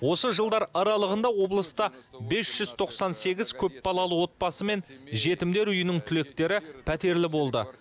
осы жылдар аралығында облыста бес жүз тоқсан сегіз көпбалалы отбасы мен жетімдер үйінің түлектері пәтерлі болды